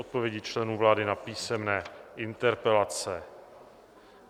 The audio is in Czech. Odpovědi členů vlády na písemné interpelace